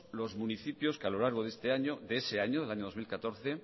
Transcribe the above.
los municipios que a lo largo de ese año del año dos mil catorce